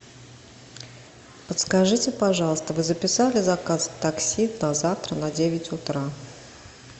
подскажите пожалуйста вы записали заказ такси на завтра на девять утра